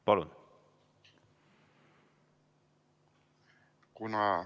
Palun!